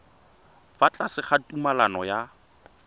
fa tlase ga tumalano ya